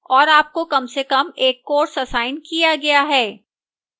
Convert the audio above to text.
और आपको कम से कम एक course असाइन किया गया है